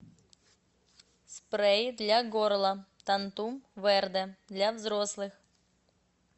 спрей для горла тантум верде для взрослых